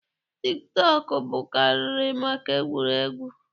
Tik tọọkụ bụkarịrị maka egwuregwu.